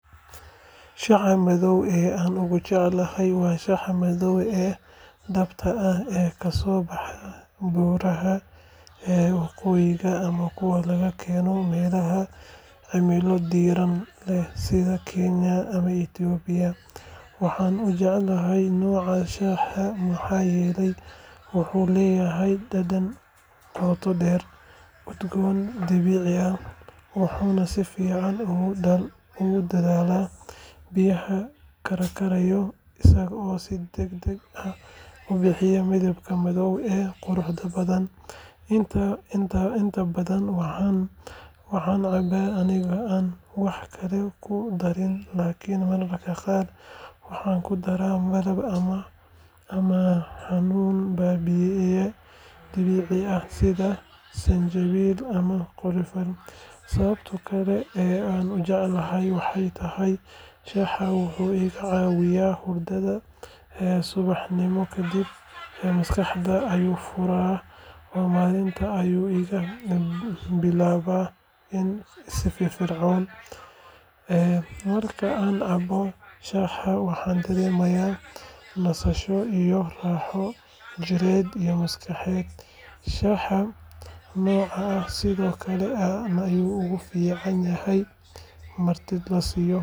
Shaaha madow ee aan ugu jecelahay waa shaaha madow ee dhabta ah ee kasoo baxa buuraha waqooyi ama kuwa laga keeno meelaha cimilo diiran leh sida Kenya ama Itoobiya. Waxaan u jecelahay noocaan shaaha maxaa yeelay wuxuu leeyahay dhadhan qoto dheer, udgoon dabiici ah, wuxuuna si fiican ugu dhalaalaa biyaha karkaraya isagoo si deg deg ah u bixiya midabka madow ee quruxda badan. Inta badan waxaan cabbaa anigoo aan wax kale ku darin, laakiin mararka qaar waxaan ku daraa malab ama xanuun baabi’iye dabiici ah sida sanjabiil ama qorfe. Sababta kale ee aan u jeclahay waxay tahay shaahan wuxuu iga caawiyaa hurdada subaxnimo kadib, maskaxdayda ayuu furfuraa oo maalinta ayuu iiga bilaabaa si firfircoon. Marka aan cabbo shaahan, waxaan dareemaa nasasho iyo raaxo jidheed iyo maskaxeed. Shaaha noocaan ah sidoo kale aad ayuu ugu fiican yahay martida la siiyo.